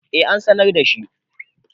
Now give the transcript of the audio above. eh an sanar da shi